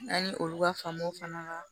N'an ye olu ka famu fana la